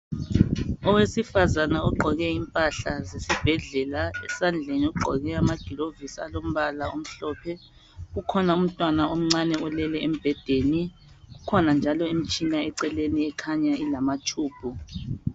Owesifazana ogqoke impahla zesibhedlela esandleni ugqoke ama gloves alombala omhlophe ukhona umntwana omncane olele embhedeni kukhona njalo imtshina eceleni ekhaya ilama tube.